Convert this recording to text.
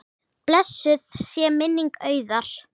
Blessuð sé minning Auðar.